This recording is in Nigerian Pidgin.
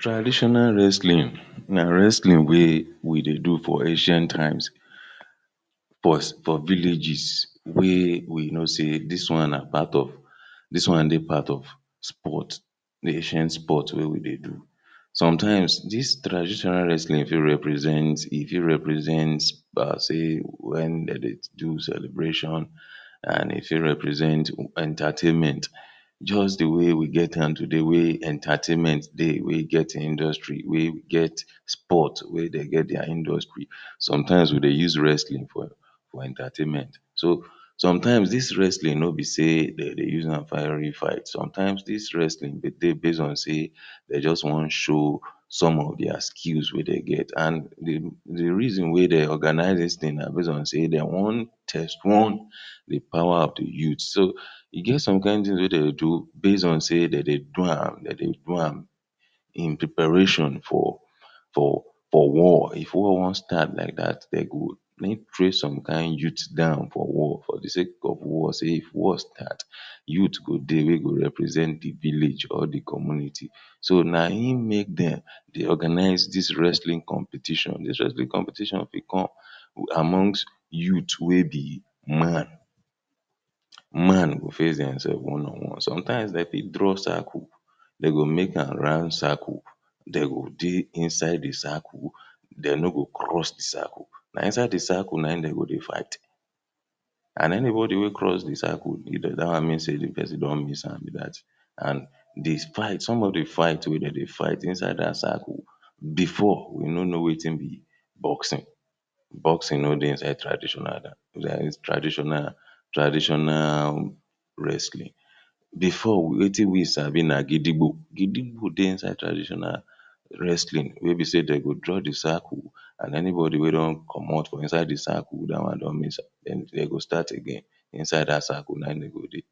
Traditional wrestling na wrestling wey we dey do for ancient times for villages wey we know say dis one na part of dis one dey part of sport, di ancient sport wey we dey do sometimes dis tradtional wrestling fit represent, e fit represent par se wen dem dey do celebration and e fit represent entertainment just di way we get am today, wey entertainment dey wey get industry wey get sport wey dey get dia industry sometimes we dey use wrestling for entertainment so, sometimes dis wrestling nobi say dem dey use am fight real fight, sometimes dis wrestling dey dey based on say dem just wan show some of dia skills wey dem get, and di reason wey dem organize dis things na base on say dem wan test-run di power of the youth so, e get some kind things wey dem dey do based on say dem dey do am, dem dey do am in preparation for for war, if war wan start like dat dem go make prep some kind youths down for war, for di sake of war say if war start youth go dey wey go represent di vallage or di community so na im make dem dey organize dis wrestling competition, dis wrestling competition fit come who amongs youth wey be man. man go face dem sef one on one, sometimes dem fit draw circle dem go make am round circle dem go dey inside di circle dem no go cross di circle na inside di circle na im dem go dey fight and anybody wey cross di circle dat one mean say di person don miss am be dat and, dis fight, some of di fight wey dem dey fight, inside dat circle before we no know wetin be boxing boxing no dey inside traditional dat is tradtional traditional wrestling before wetin we sabi na gidigbo, gidigbo dey inside traditional wrestling wey be say dem go draw di circle and anybody wey don comot from inside the circle, dat one don miss am den dem go start again inside dat circle na im dem go dey